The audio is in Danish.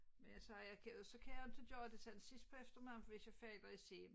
Men altså jeg kan jo så kan jeg jo ikke gøre det sådan sidst på eftermiddagen for hvis jeg falder i søvn